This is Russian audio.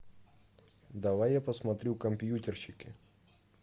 давай я посмотрю компьютерщики